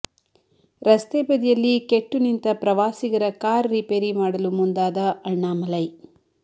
ರಸ್ತೆ ಬದಿಯಲ್ಲಿ ಕೆಟ್ಟು ನಿಂತ ಪ್ರವಾಸಿಗರ ಕಾರ್ ರಿಪೇರಿ ಮಾಡಲು ಮುಂದಾದ ಅಣ್ಣಾಮಲೈ